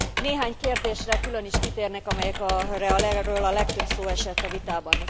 Néhány kérdésre külön is kitérnék, amelyekről a legtöbb szó esett a vitában.